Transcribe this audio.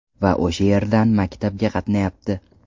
Va o‘sha yerdan maktabga qatnayapti.